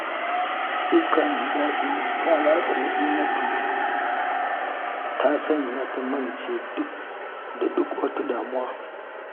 Iska mai daɗi ta ratsa Na'imatu, ta sanya ta mance da duk wata damuwa